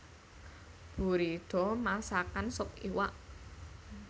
Buridda masakan sup iwak